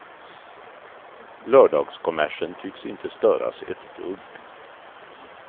Lördagskommersen tycks inte störas ett dugg.